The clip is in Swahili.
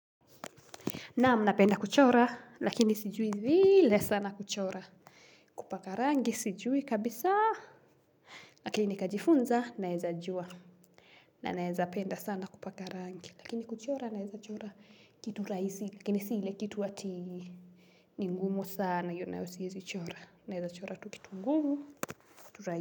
Naam napenda kuchora, lakini sijui vile sana kuchora. Kupaka rangi, sijui kabisaa, lakini nikajifunza, naeza jua. Na naeza penda sana kupaka rangi, lakini kuchora naeza chora kitu rahisi, lakini si ile kitu ati ni ngumu sana iyo nayo siezi chora. Naeza chora tu kitu ngumu, tu rahisi.